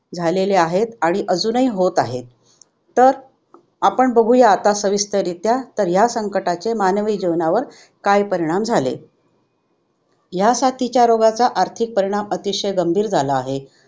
झालेले आहेत आणि अजूनही होत आहेत. तर आपण बघूया आता संविस्तररित्या तर ह्या संकटाचे मानवी जीवनावर काय परिणाम झाले. ह्या साथीच्या रोगाचा आर्थिक परिणाम अतिशय गंभीर झाला आहे.